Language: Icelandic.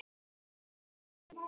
Hvar var hún keypt?